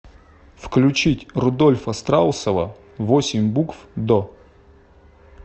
включить рудольфа страусова восемь букв до